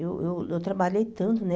Eu eu eu trabalhei tanto, né?